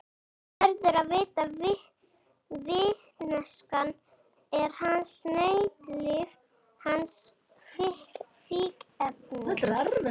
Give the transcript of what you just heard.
Hann verður að vita, vitneskjan er hans nautnalyf, hans fíkniefni.